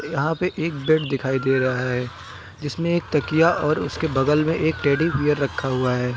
यहां पे एक बेड दिखाई दे रहा है जिसमें एक तकिया और उसके बगल में एक टेडी बीयर रखा हुआ है।